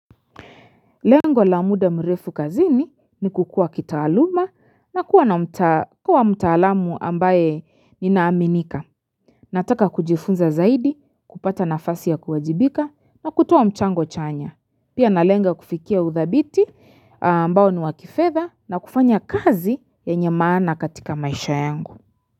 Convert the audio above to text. Lengo la muda mrefu kazini ni kukuwa kitaaluma na kuwa mtaalamu ambae ninaaminika. Nataka kujifunza zaidi, kupata nafasi ya kuwajibika na kutoa mchango chanya. Pia nalenga kufikia uthabiti ambao ni wa kifedha na kufanya kazi yenye maana katika maisha yangu.